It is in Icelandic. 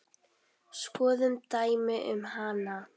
Skoðum dæmi um hana